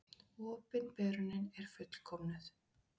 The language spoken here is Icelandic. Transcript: Opinberunin er fullkomnuð.